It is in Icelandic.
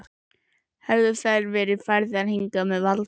Höfðu þær verið færðar hingað með valdi?